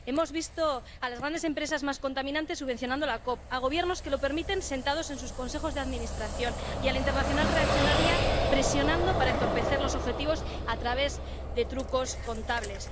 Hemos visto a las grandes empresas más contaminantes subvencionando a la COP, a gobiernos que lo permiten, sentados en sus consejos de administración, y a la internacional reaccionaria presionando para entorpecer los objetivos a través de trucos contables.